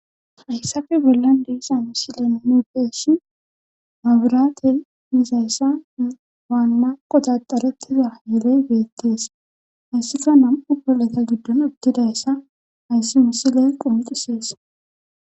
hayssafe bollan deisa misilen nuudeshin maaburate yizayssa waanna qotaxarettiza yeley beettees hayssika nam7u bolleta giddon udtidayssa hayssi misile qonxusees